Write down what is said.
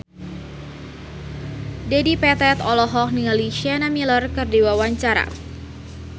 Dedi Petet olohok ningali Sienna Miller keur diwawancara